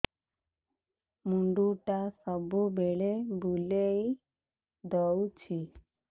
ମୁଣ୍ଡଟା ସବୁବେଳେ ବୁଲେଇ ଦଉଛି